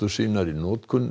sínar í notkun